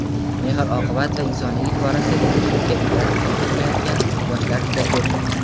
mehr-oqibat va insoniylik borasida ko‘pchilikka ibrat bo‘layotgan yoshlar juda ko‘p.